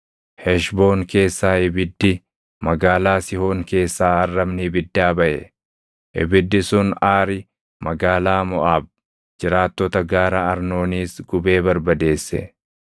“Heshboon keessaa ibiddi, magaalaa Sihoon keessaa arrabni ibiddaa baʼe. Ibiddi sun Aari magaalaa Moʼaab, jiraattota gaara Arnooniis gubee barbadeesse.